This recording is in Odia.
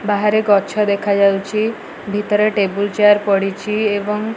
ବାହାରେ ଗଛ ଦେଖାଯାଉଛି ଭିତର ଟେବୁଲ ଚିଆର ପଡ଼ିଛି ଏବଂ --